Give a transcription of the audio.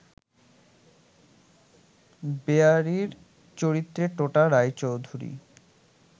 বেহারির চরিত্রে টোটা রায়চৌধুরী